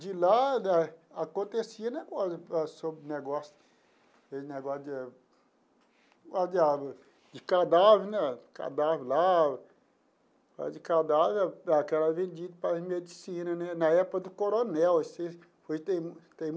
De lá, acontecia um negócio, um negócio aquele negócio de a de cadáver né, cadáver lá, de cadáver, que era vendido para a medicina né, na época do coronel, assim tem tem.